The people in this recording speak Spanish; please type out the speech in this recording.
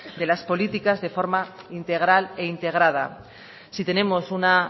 de las políticas de forma integral e integrada si tenemos una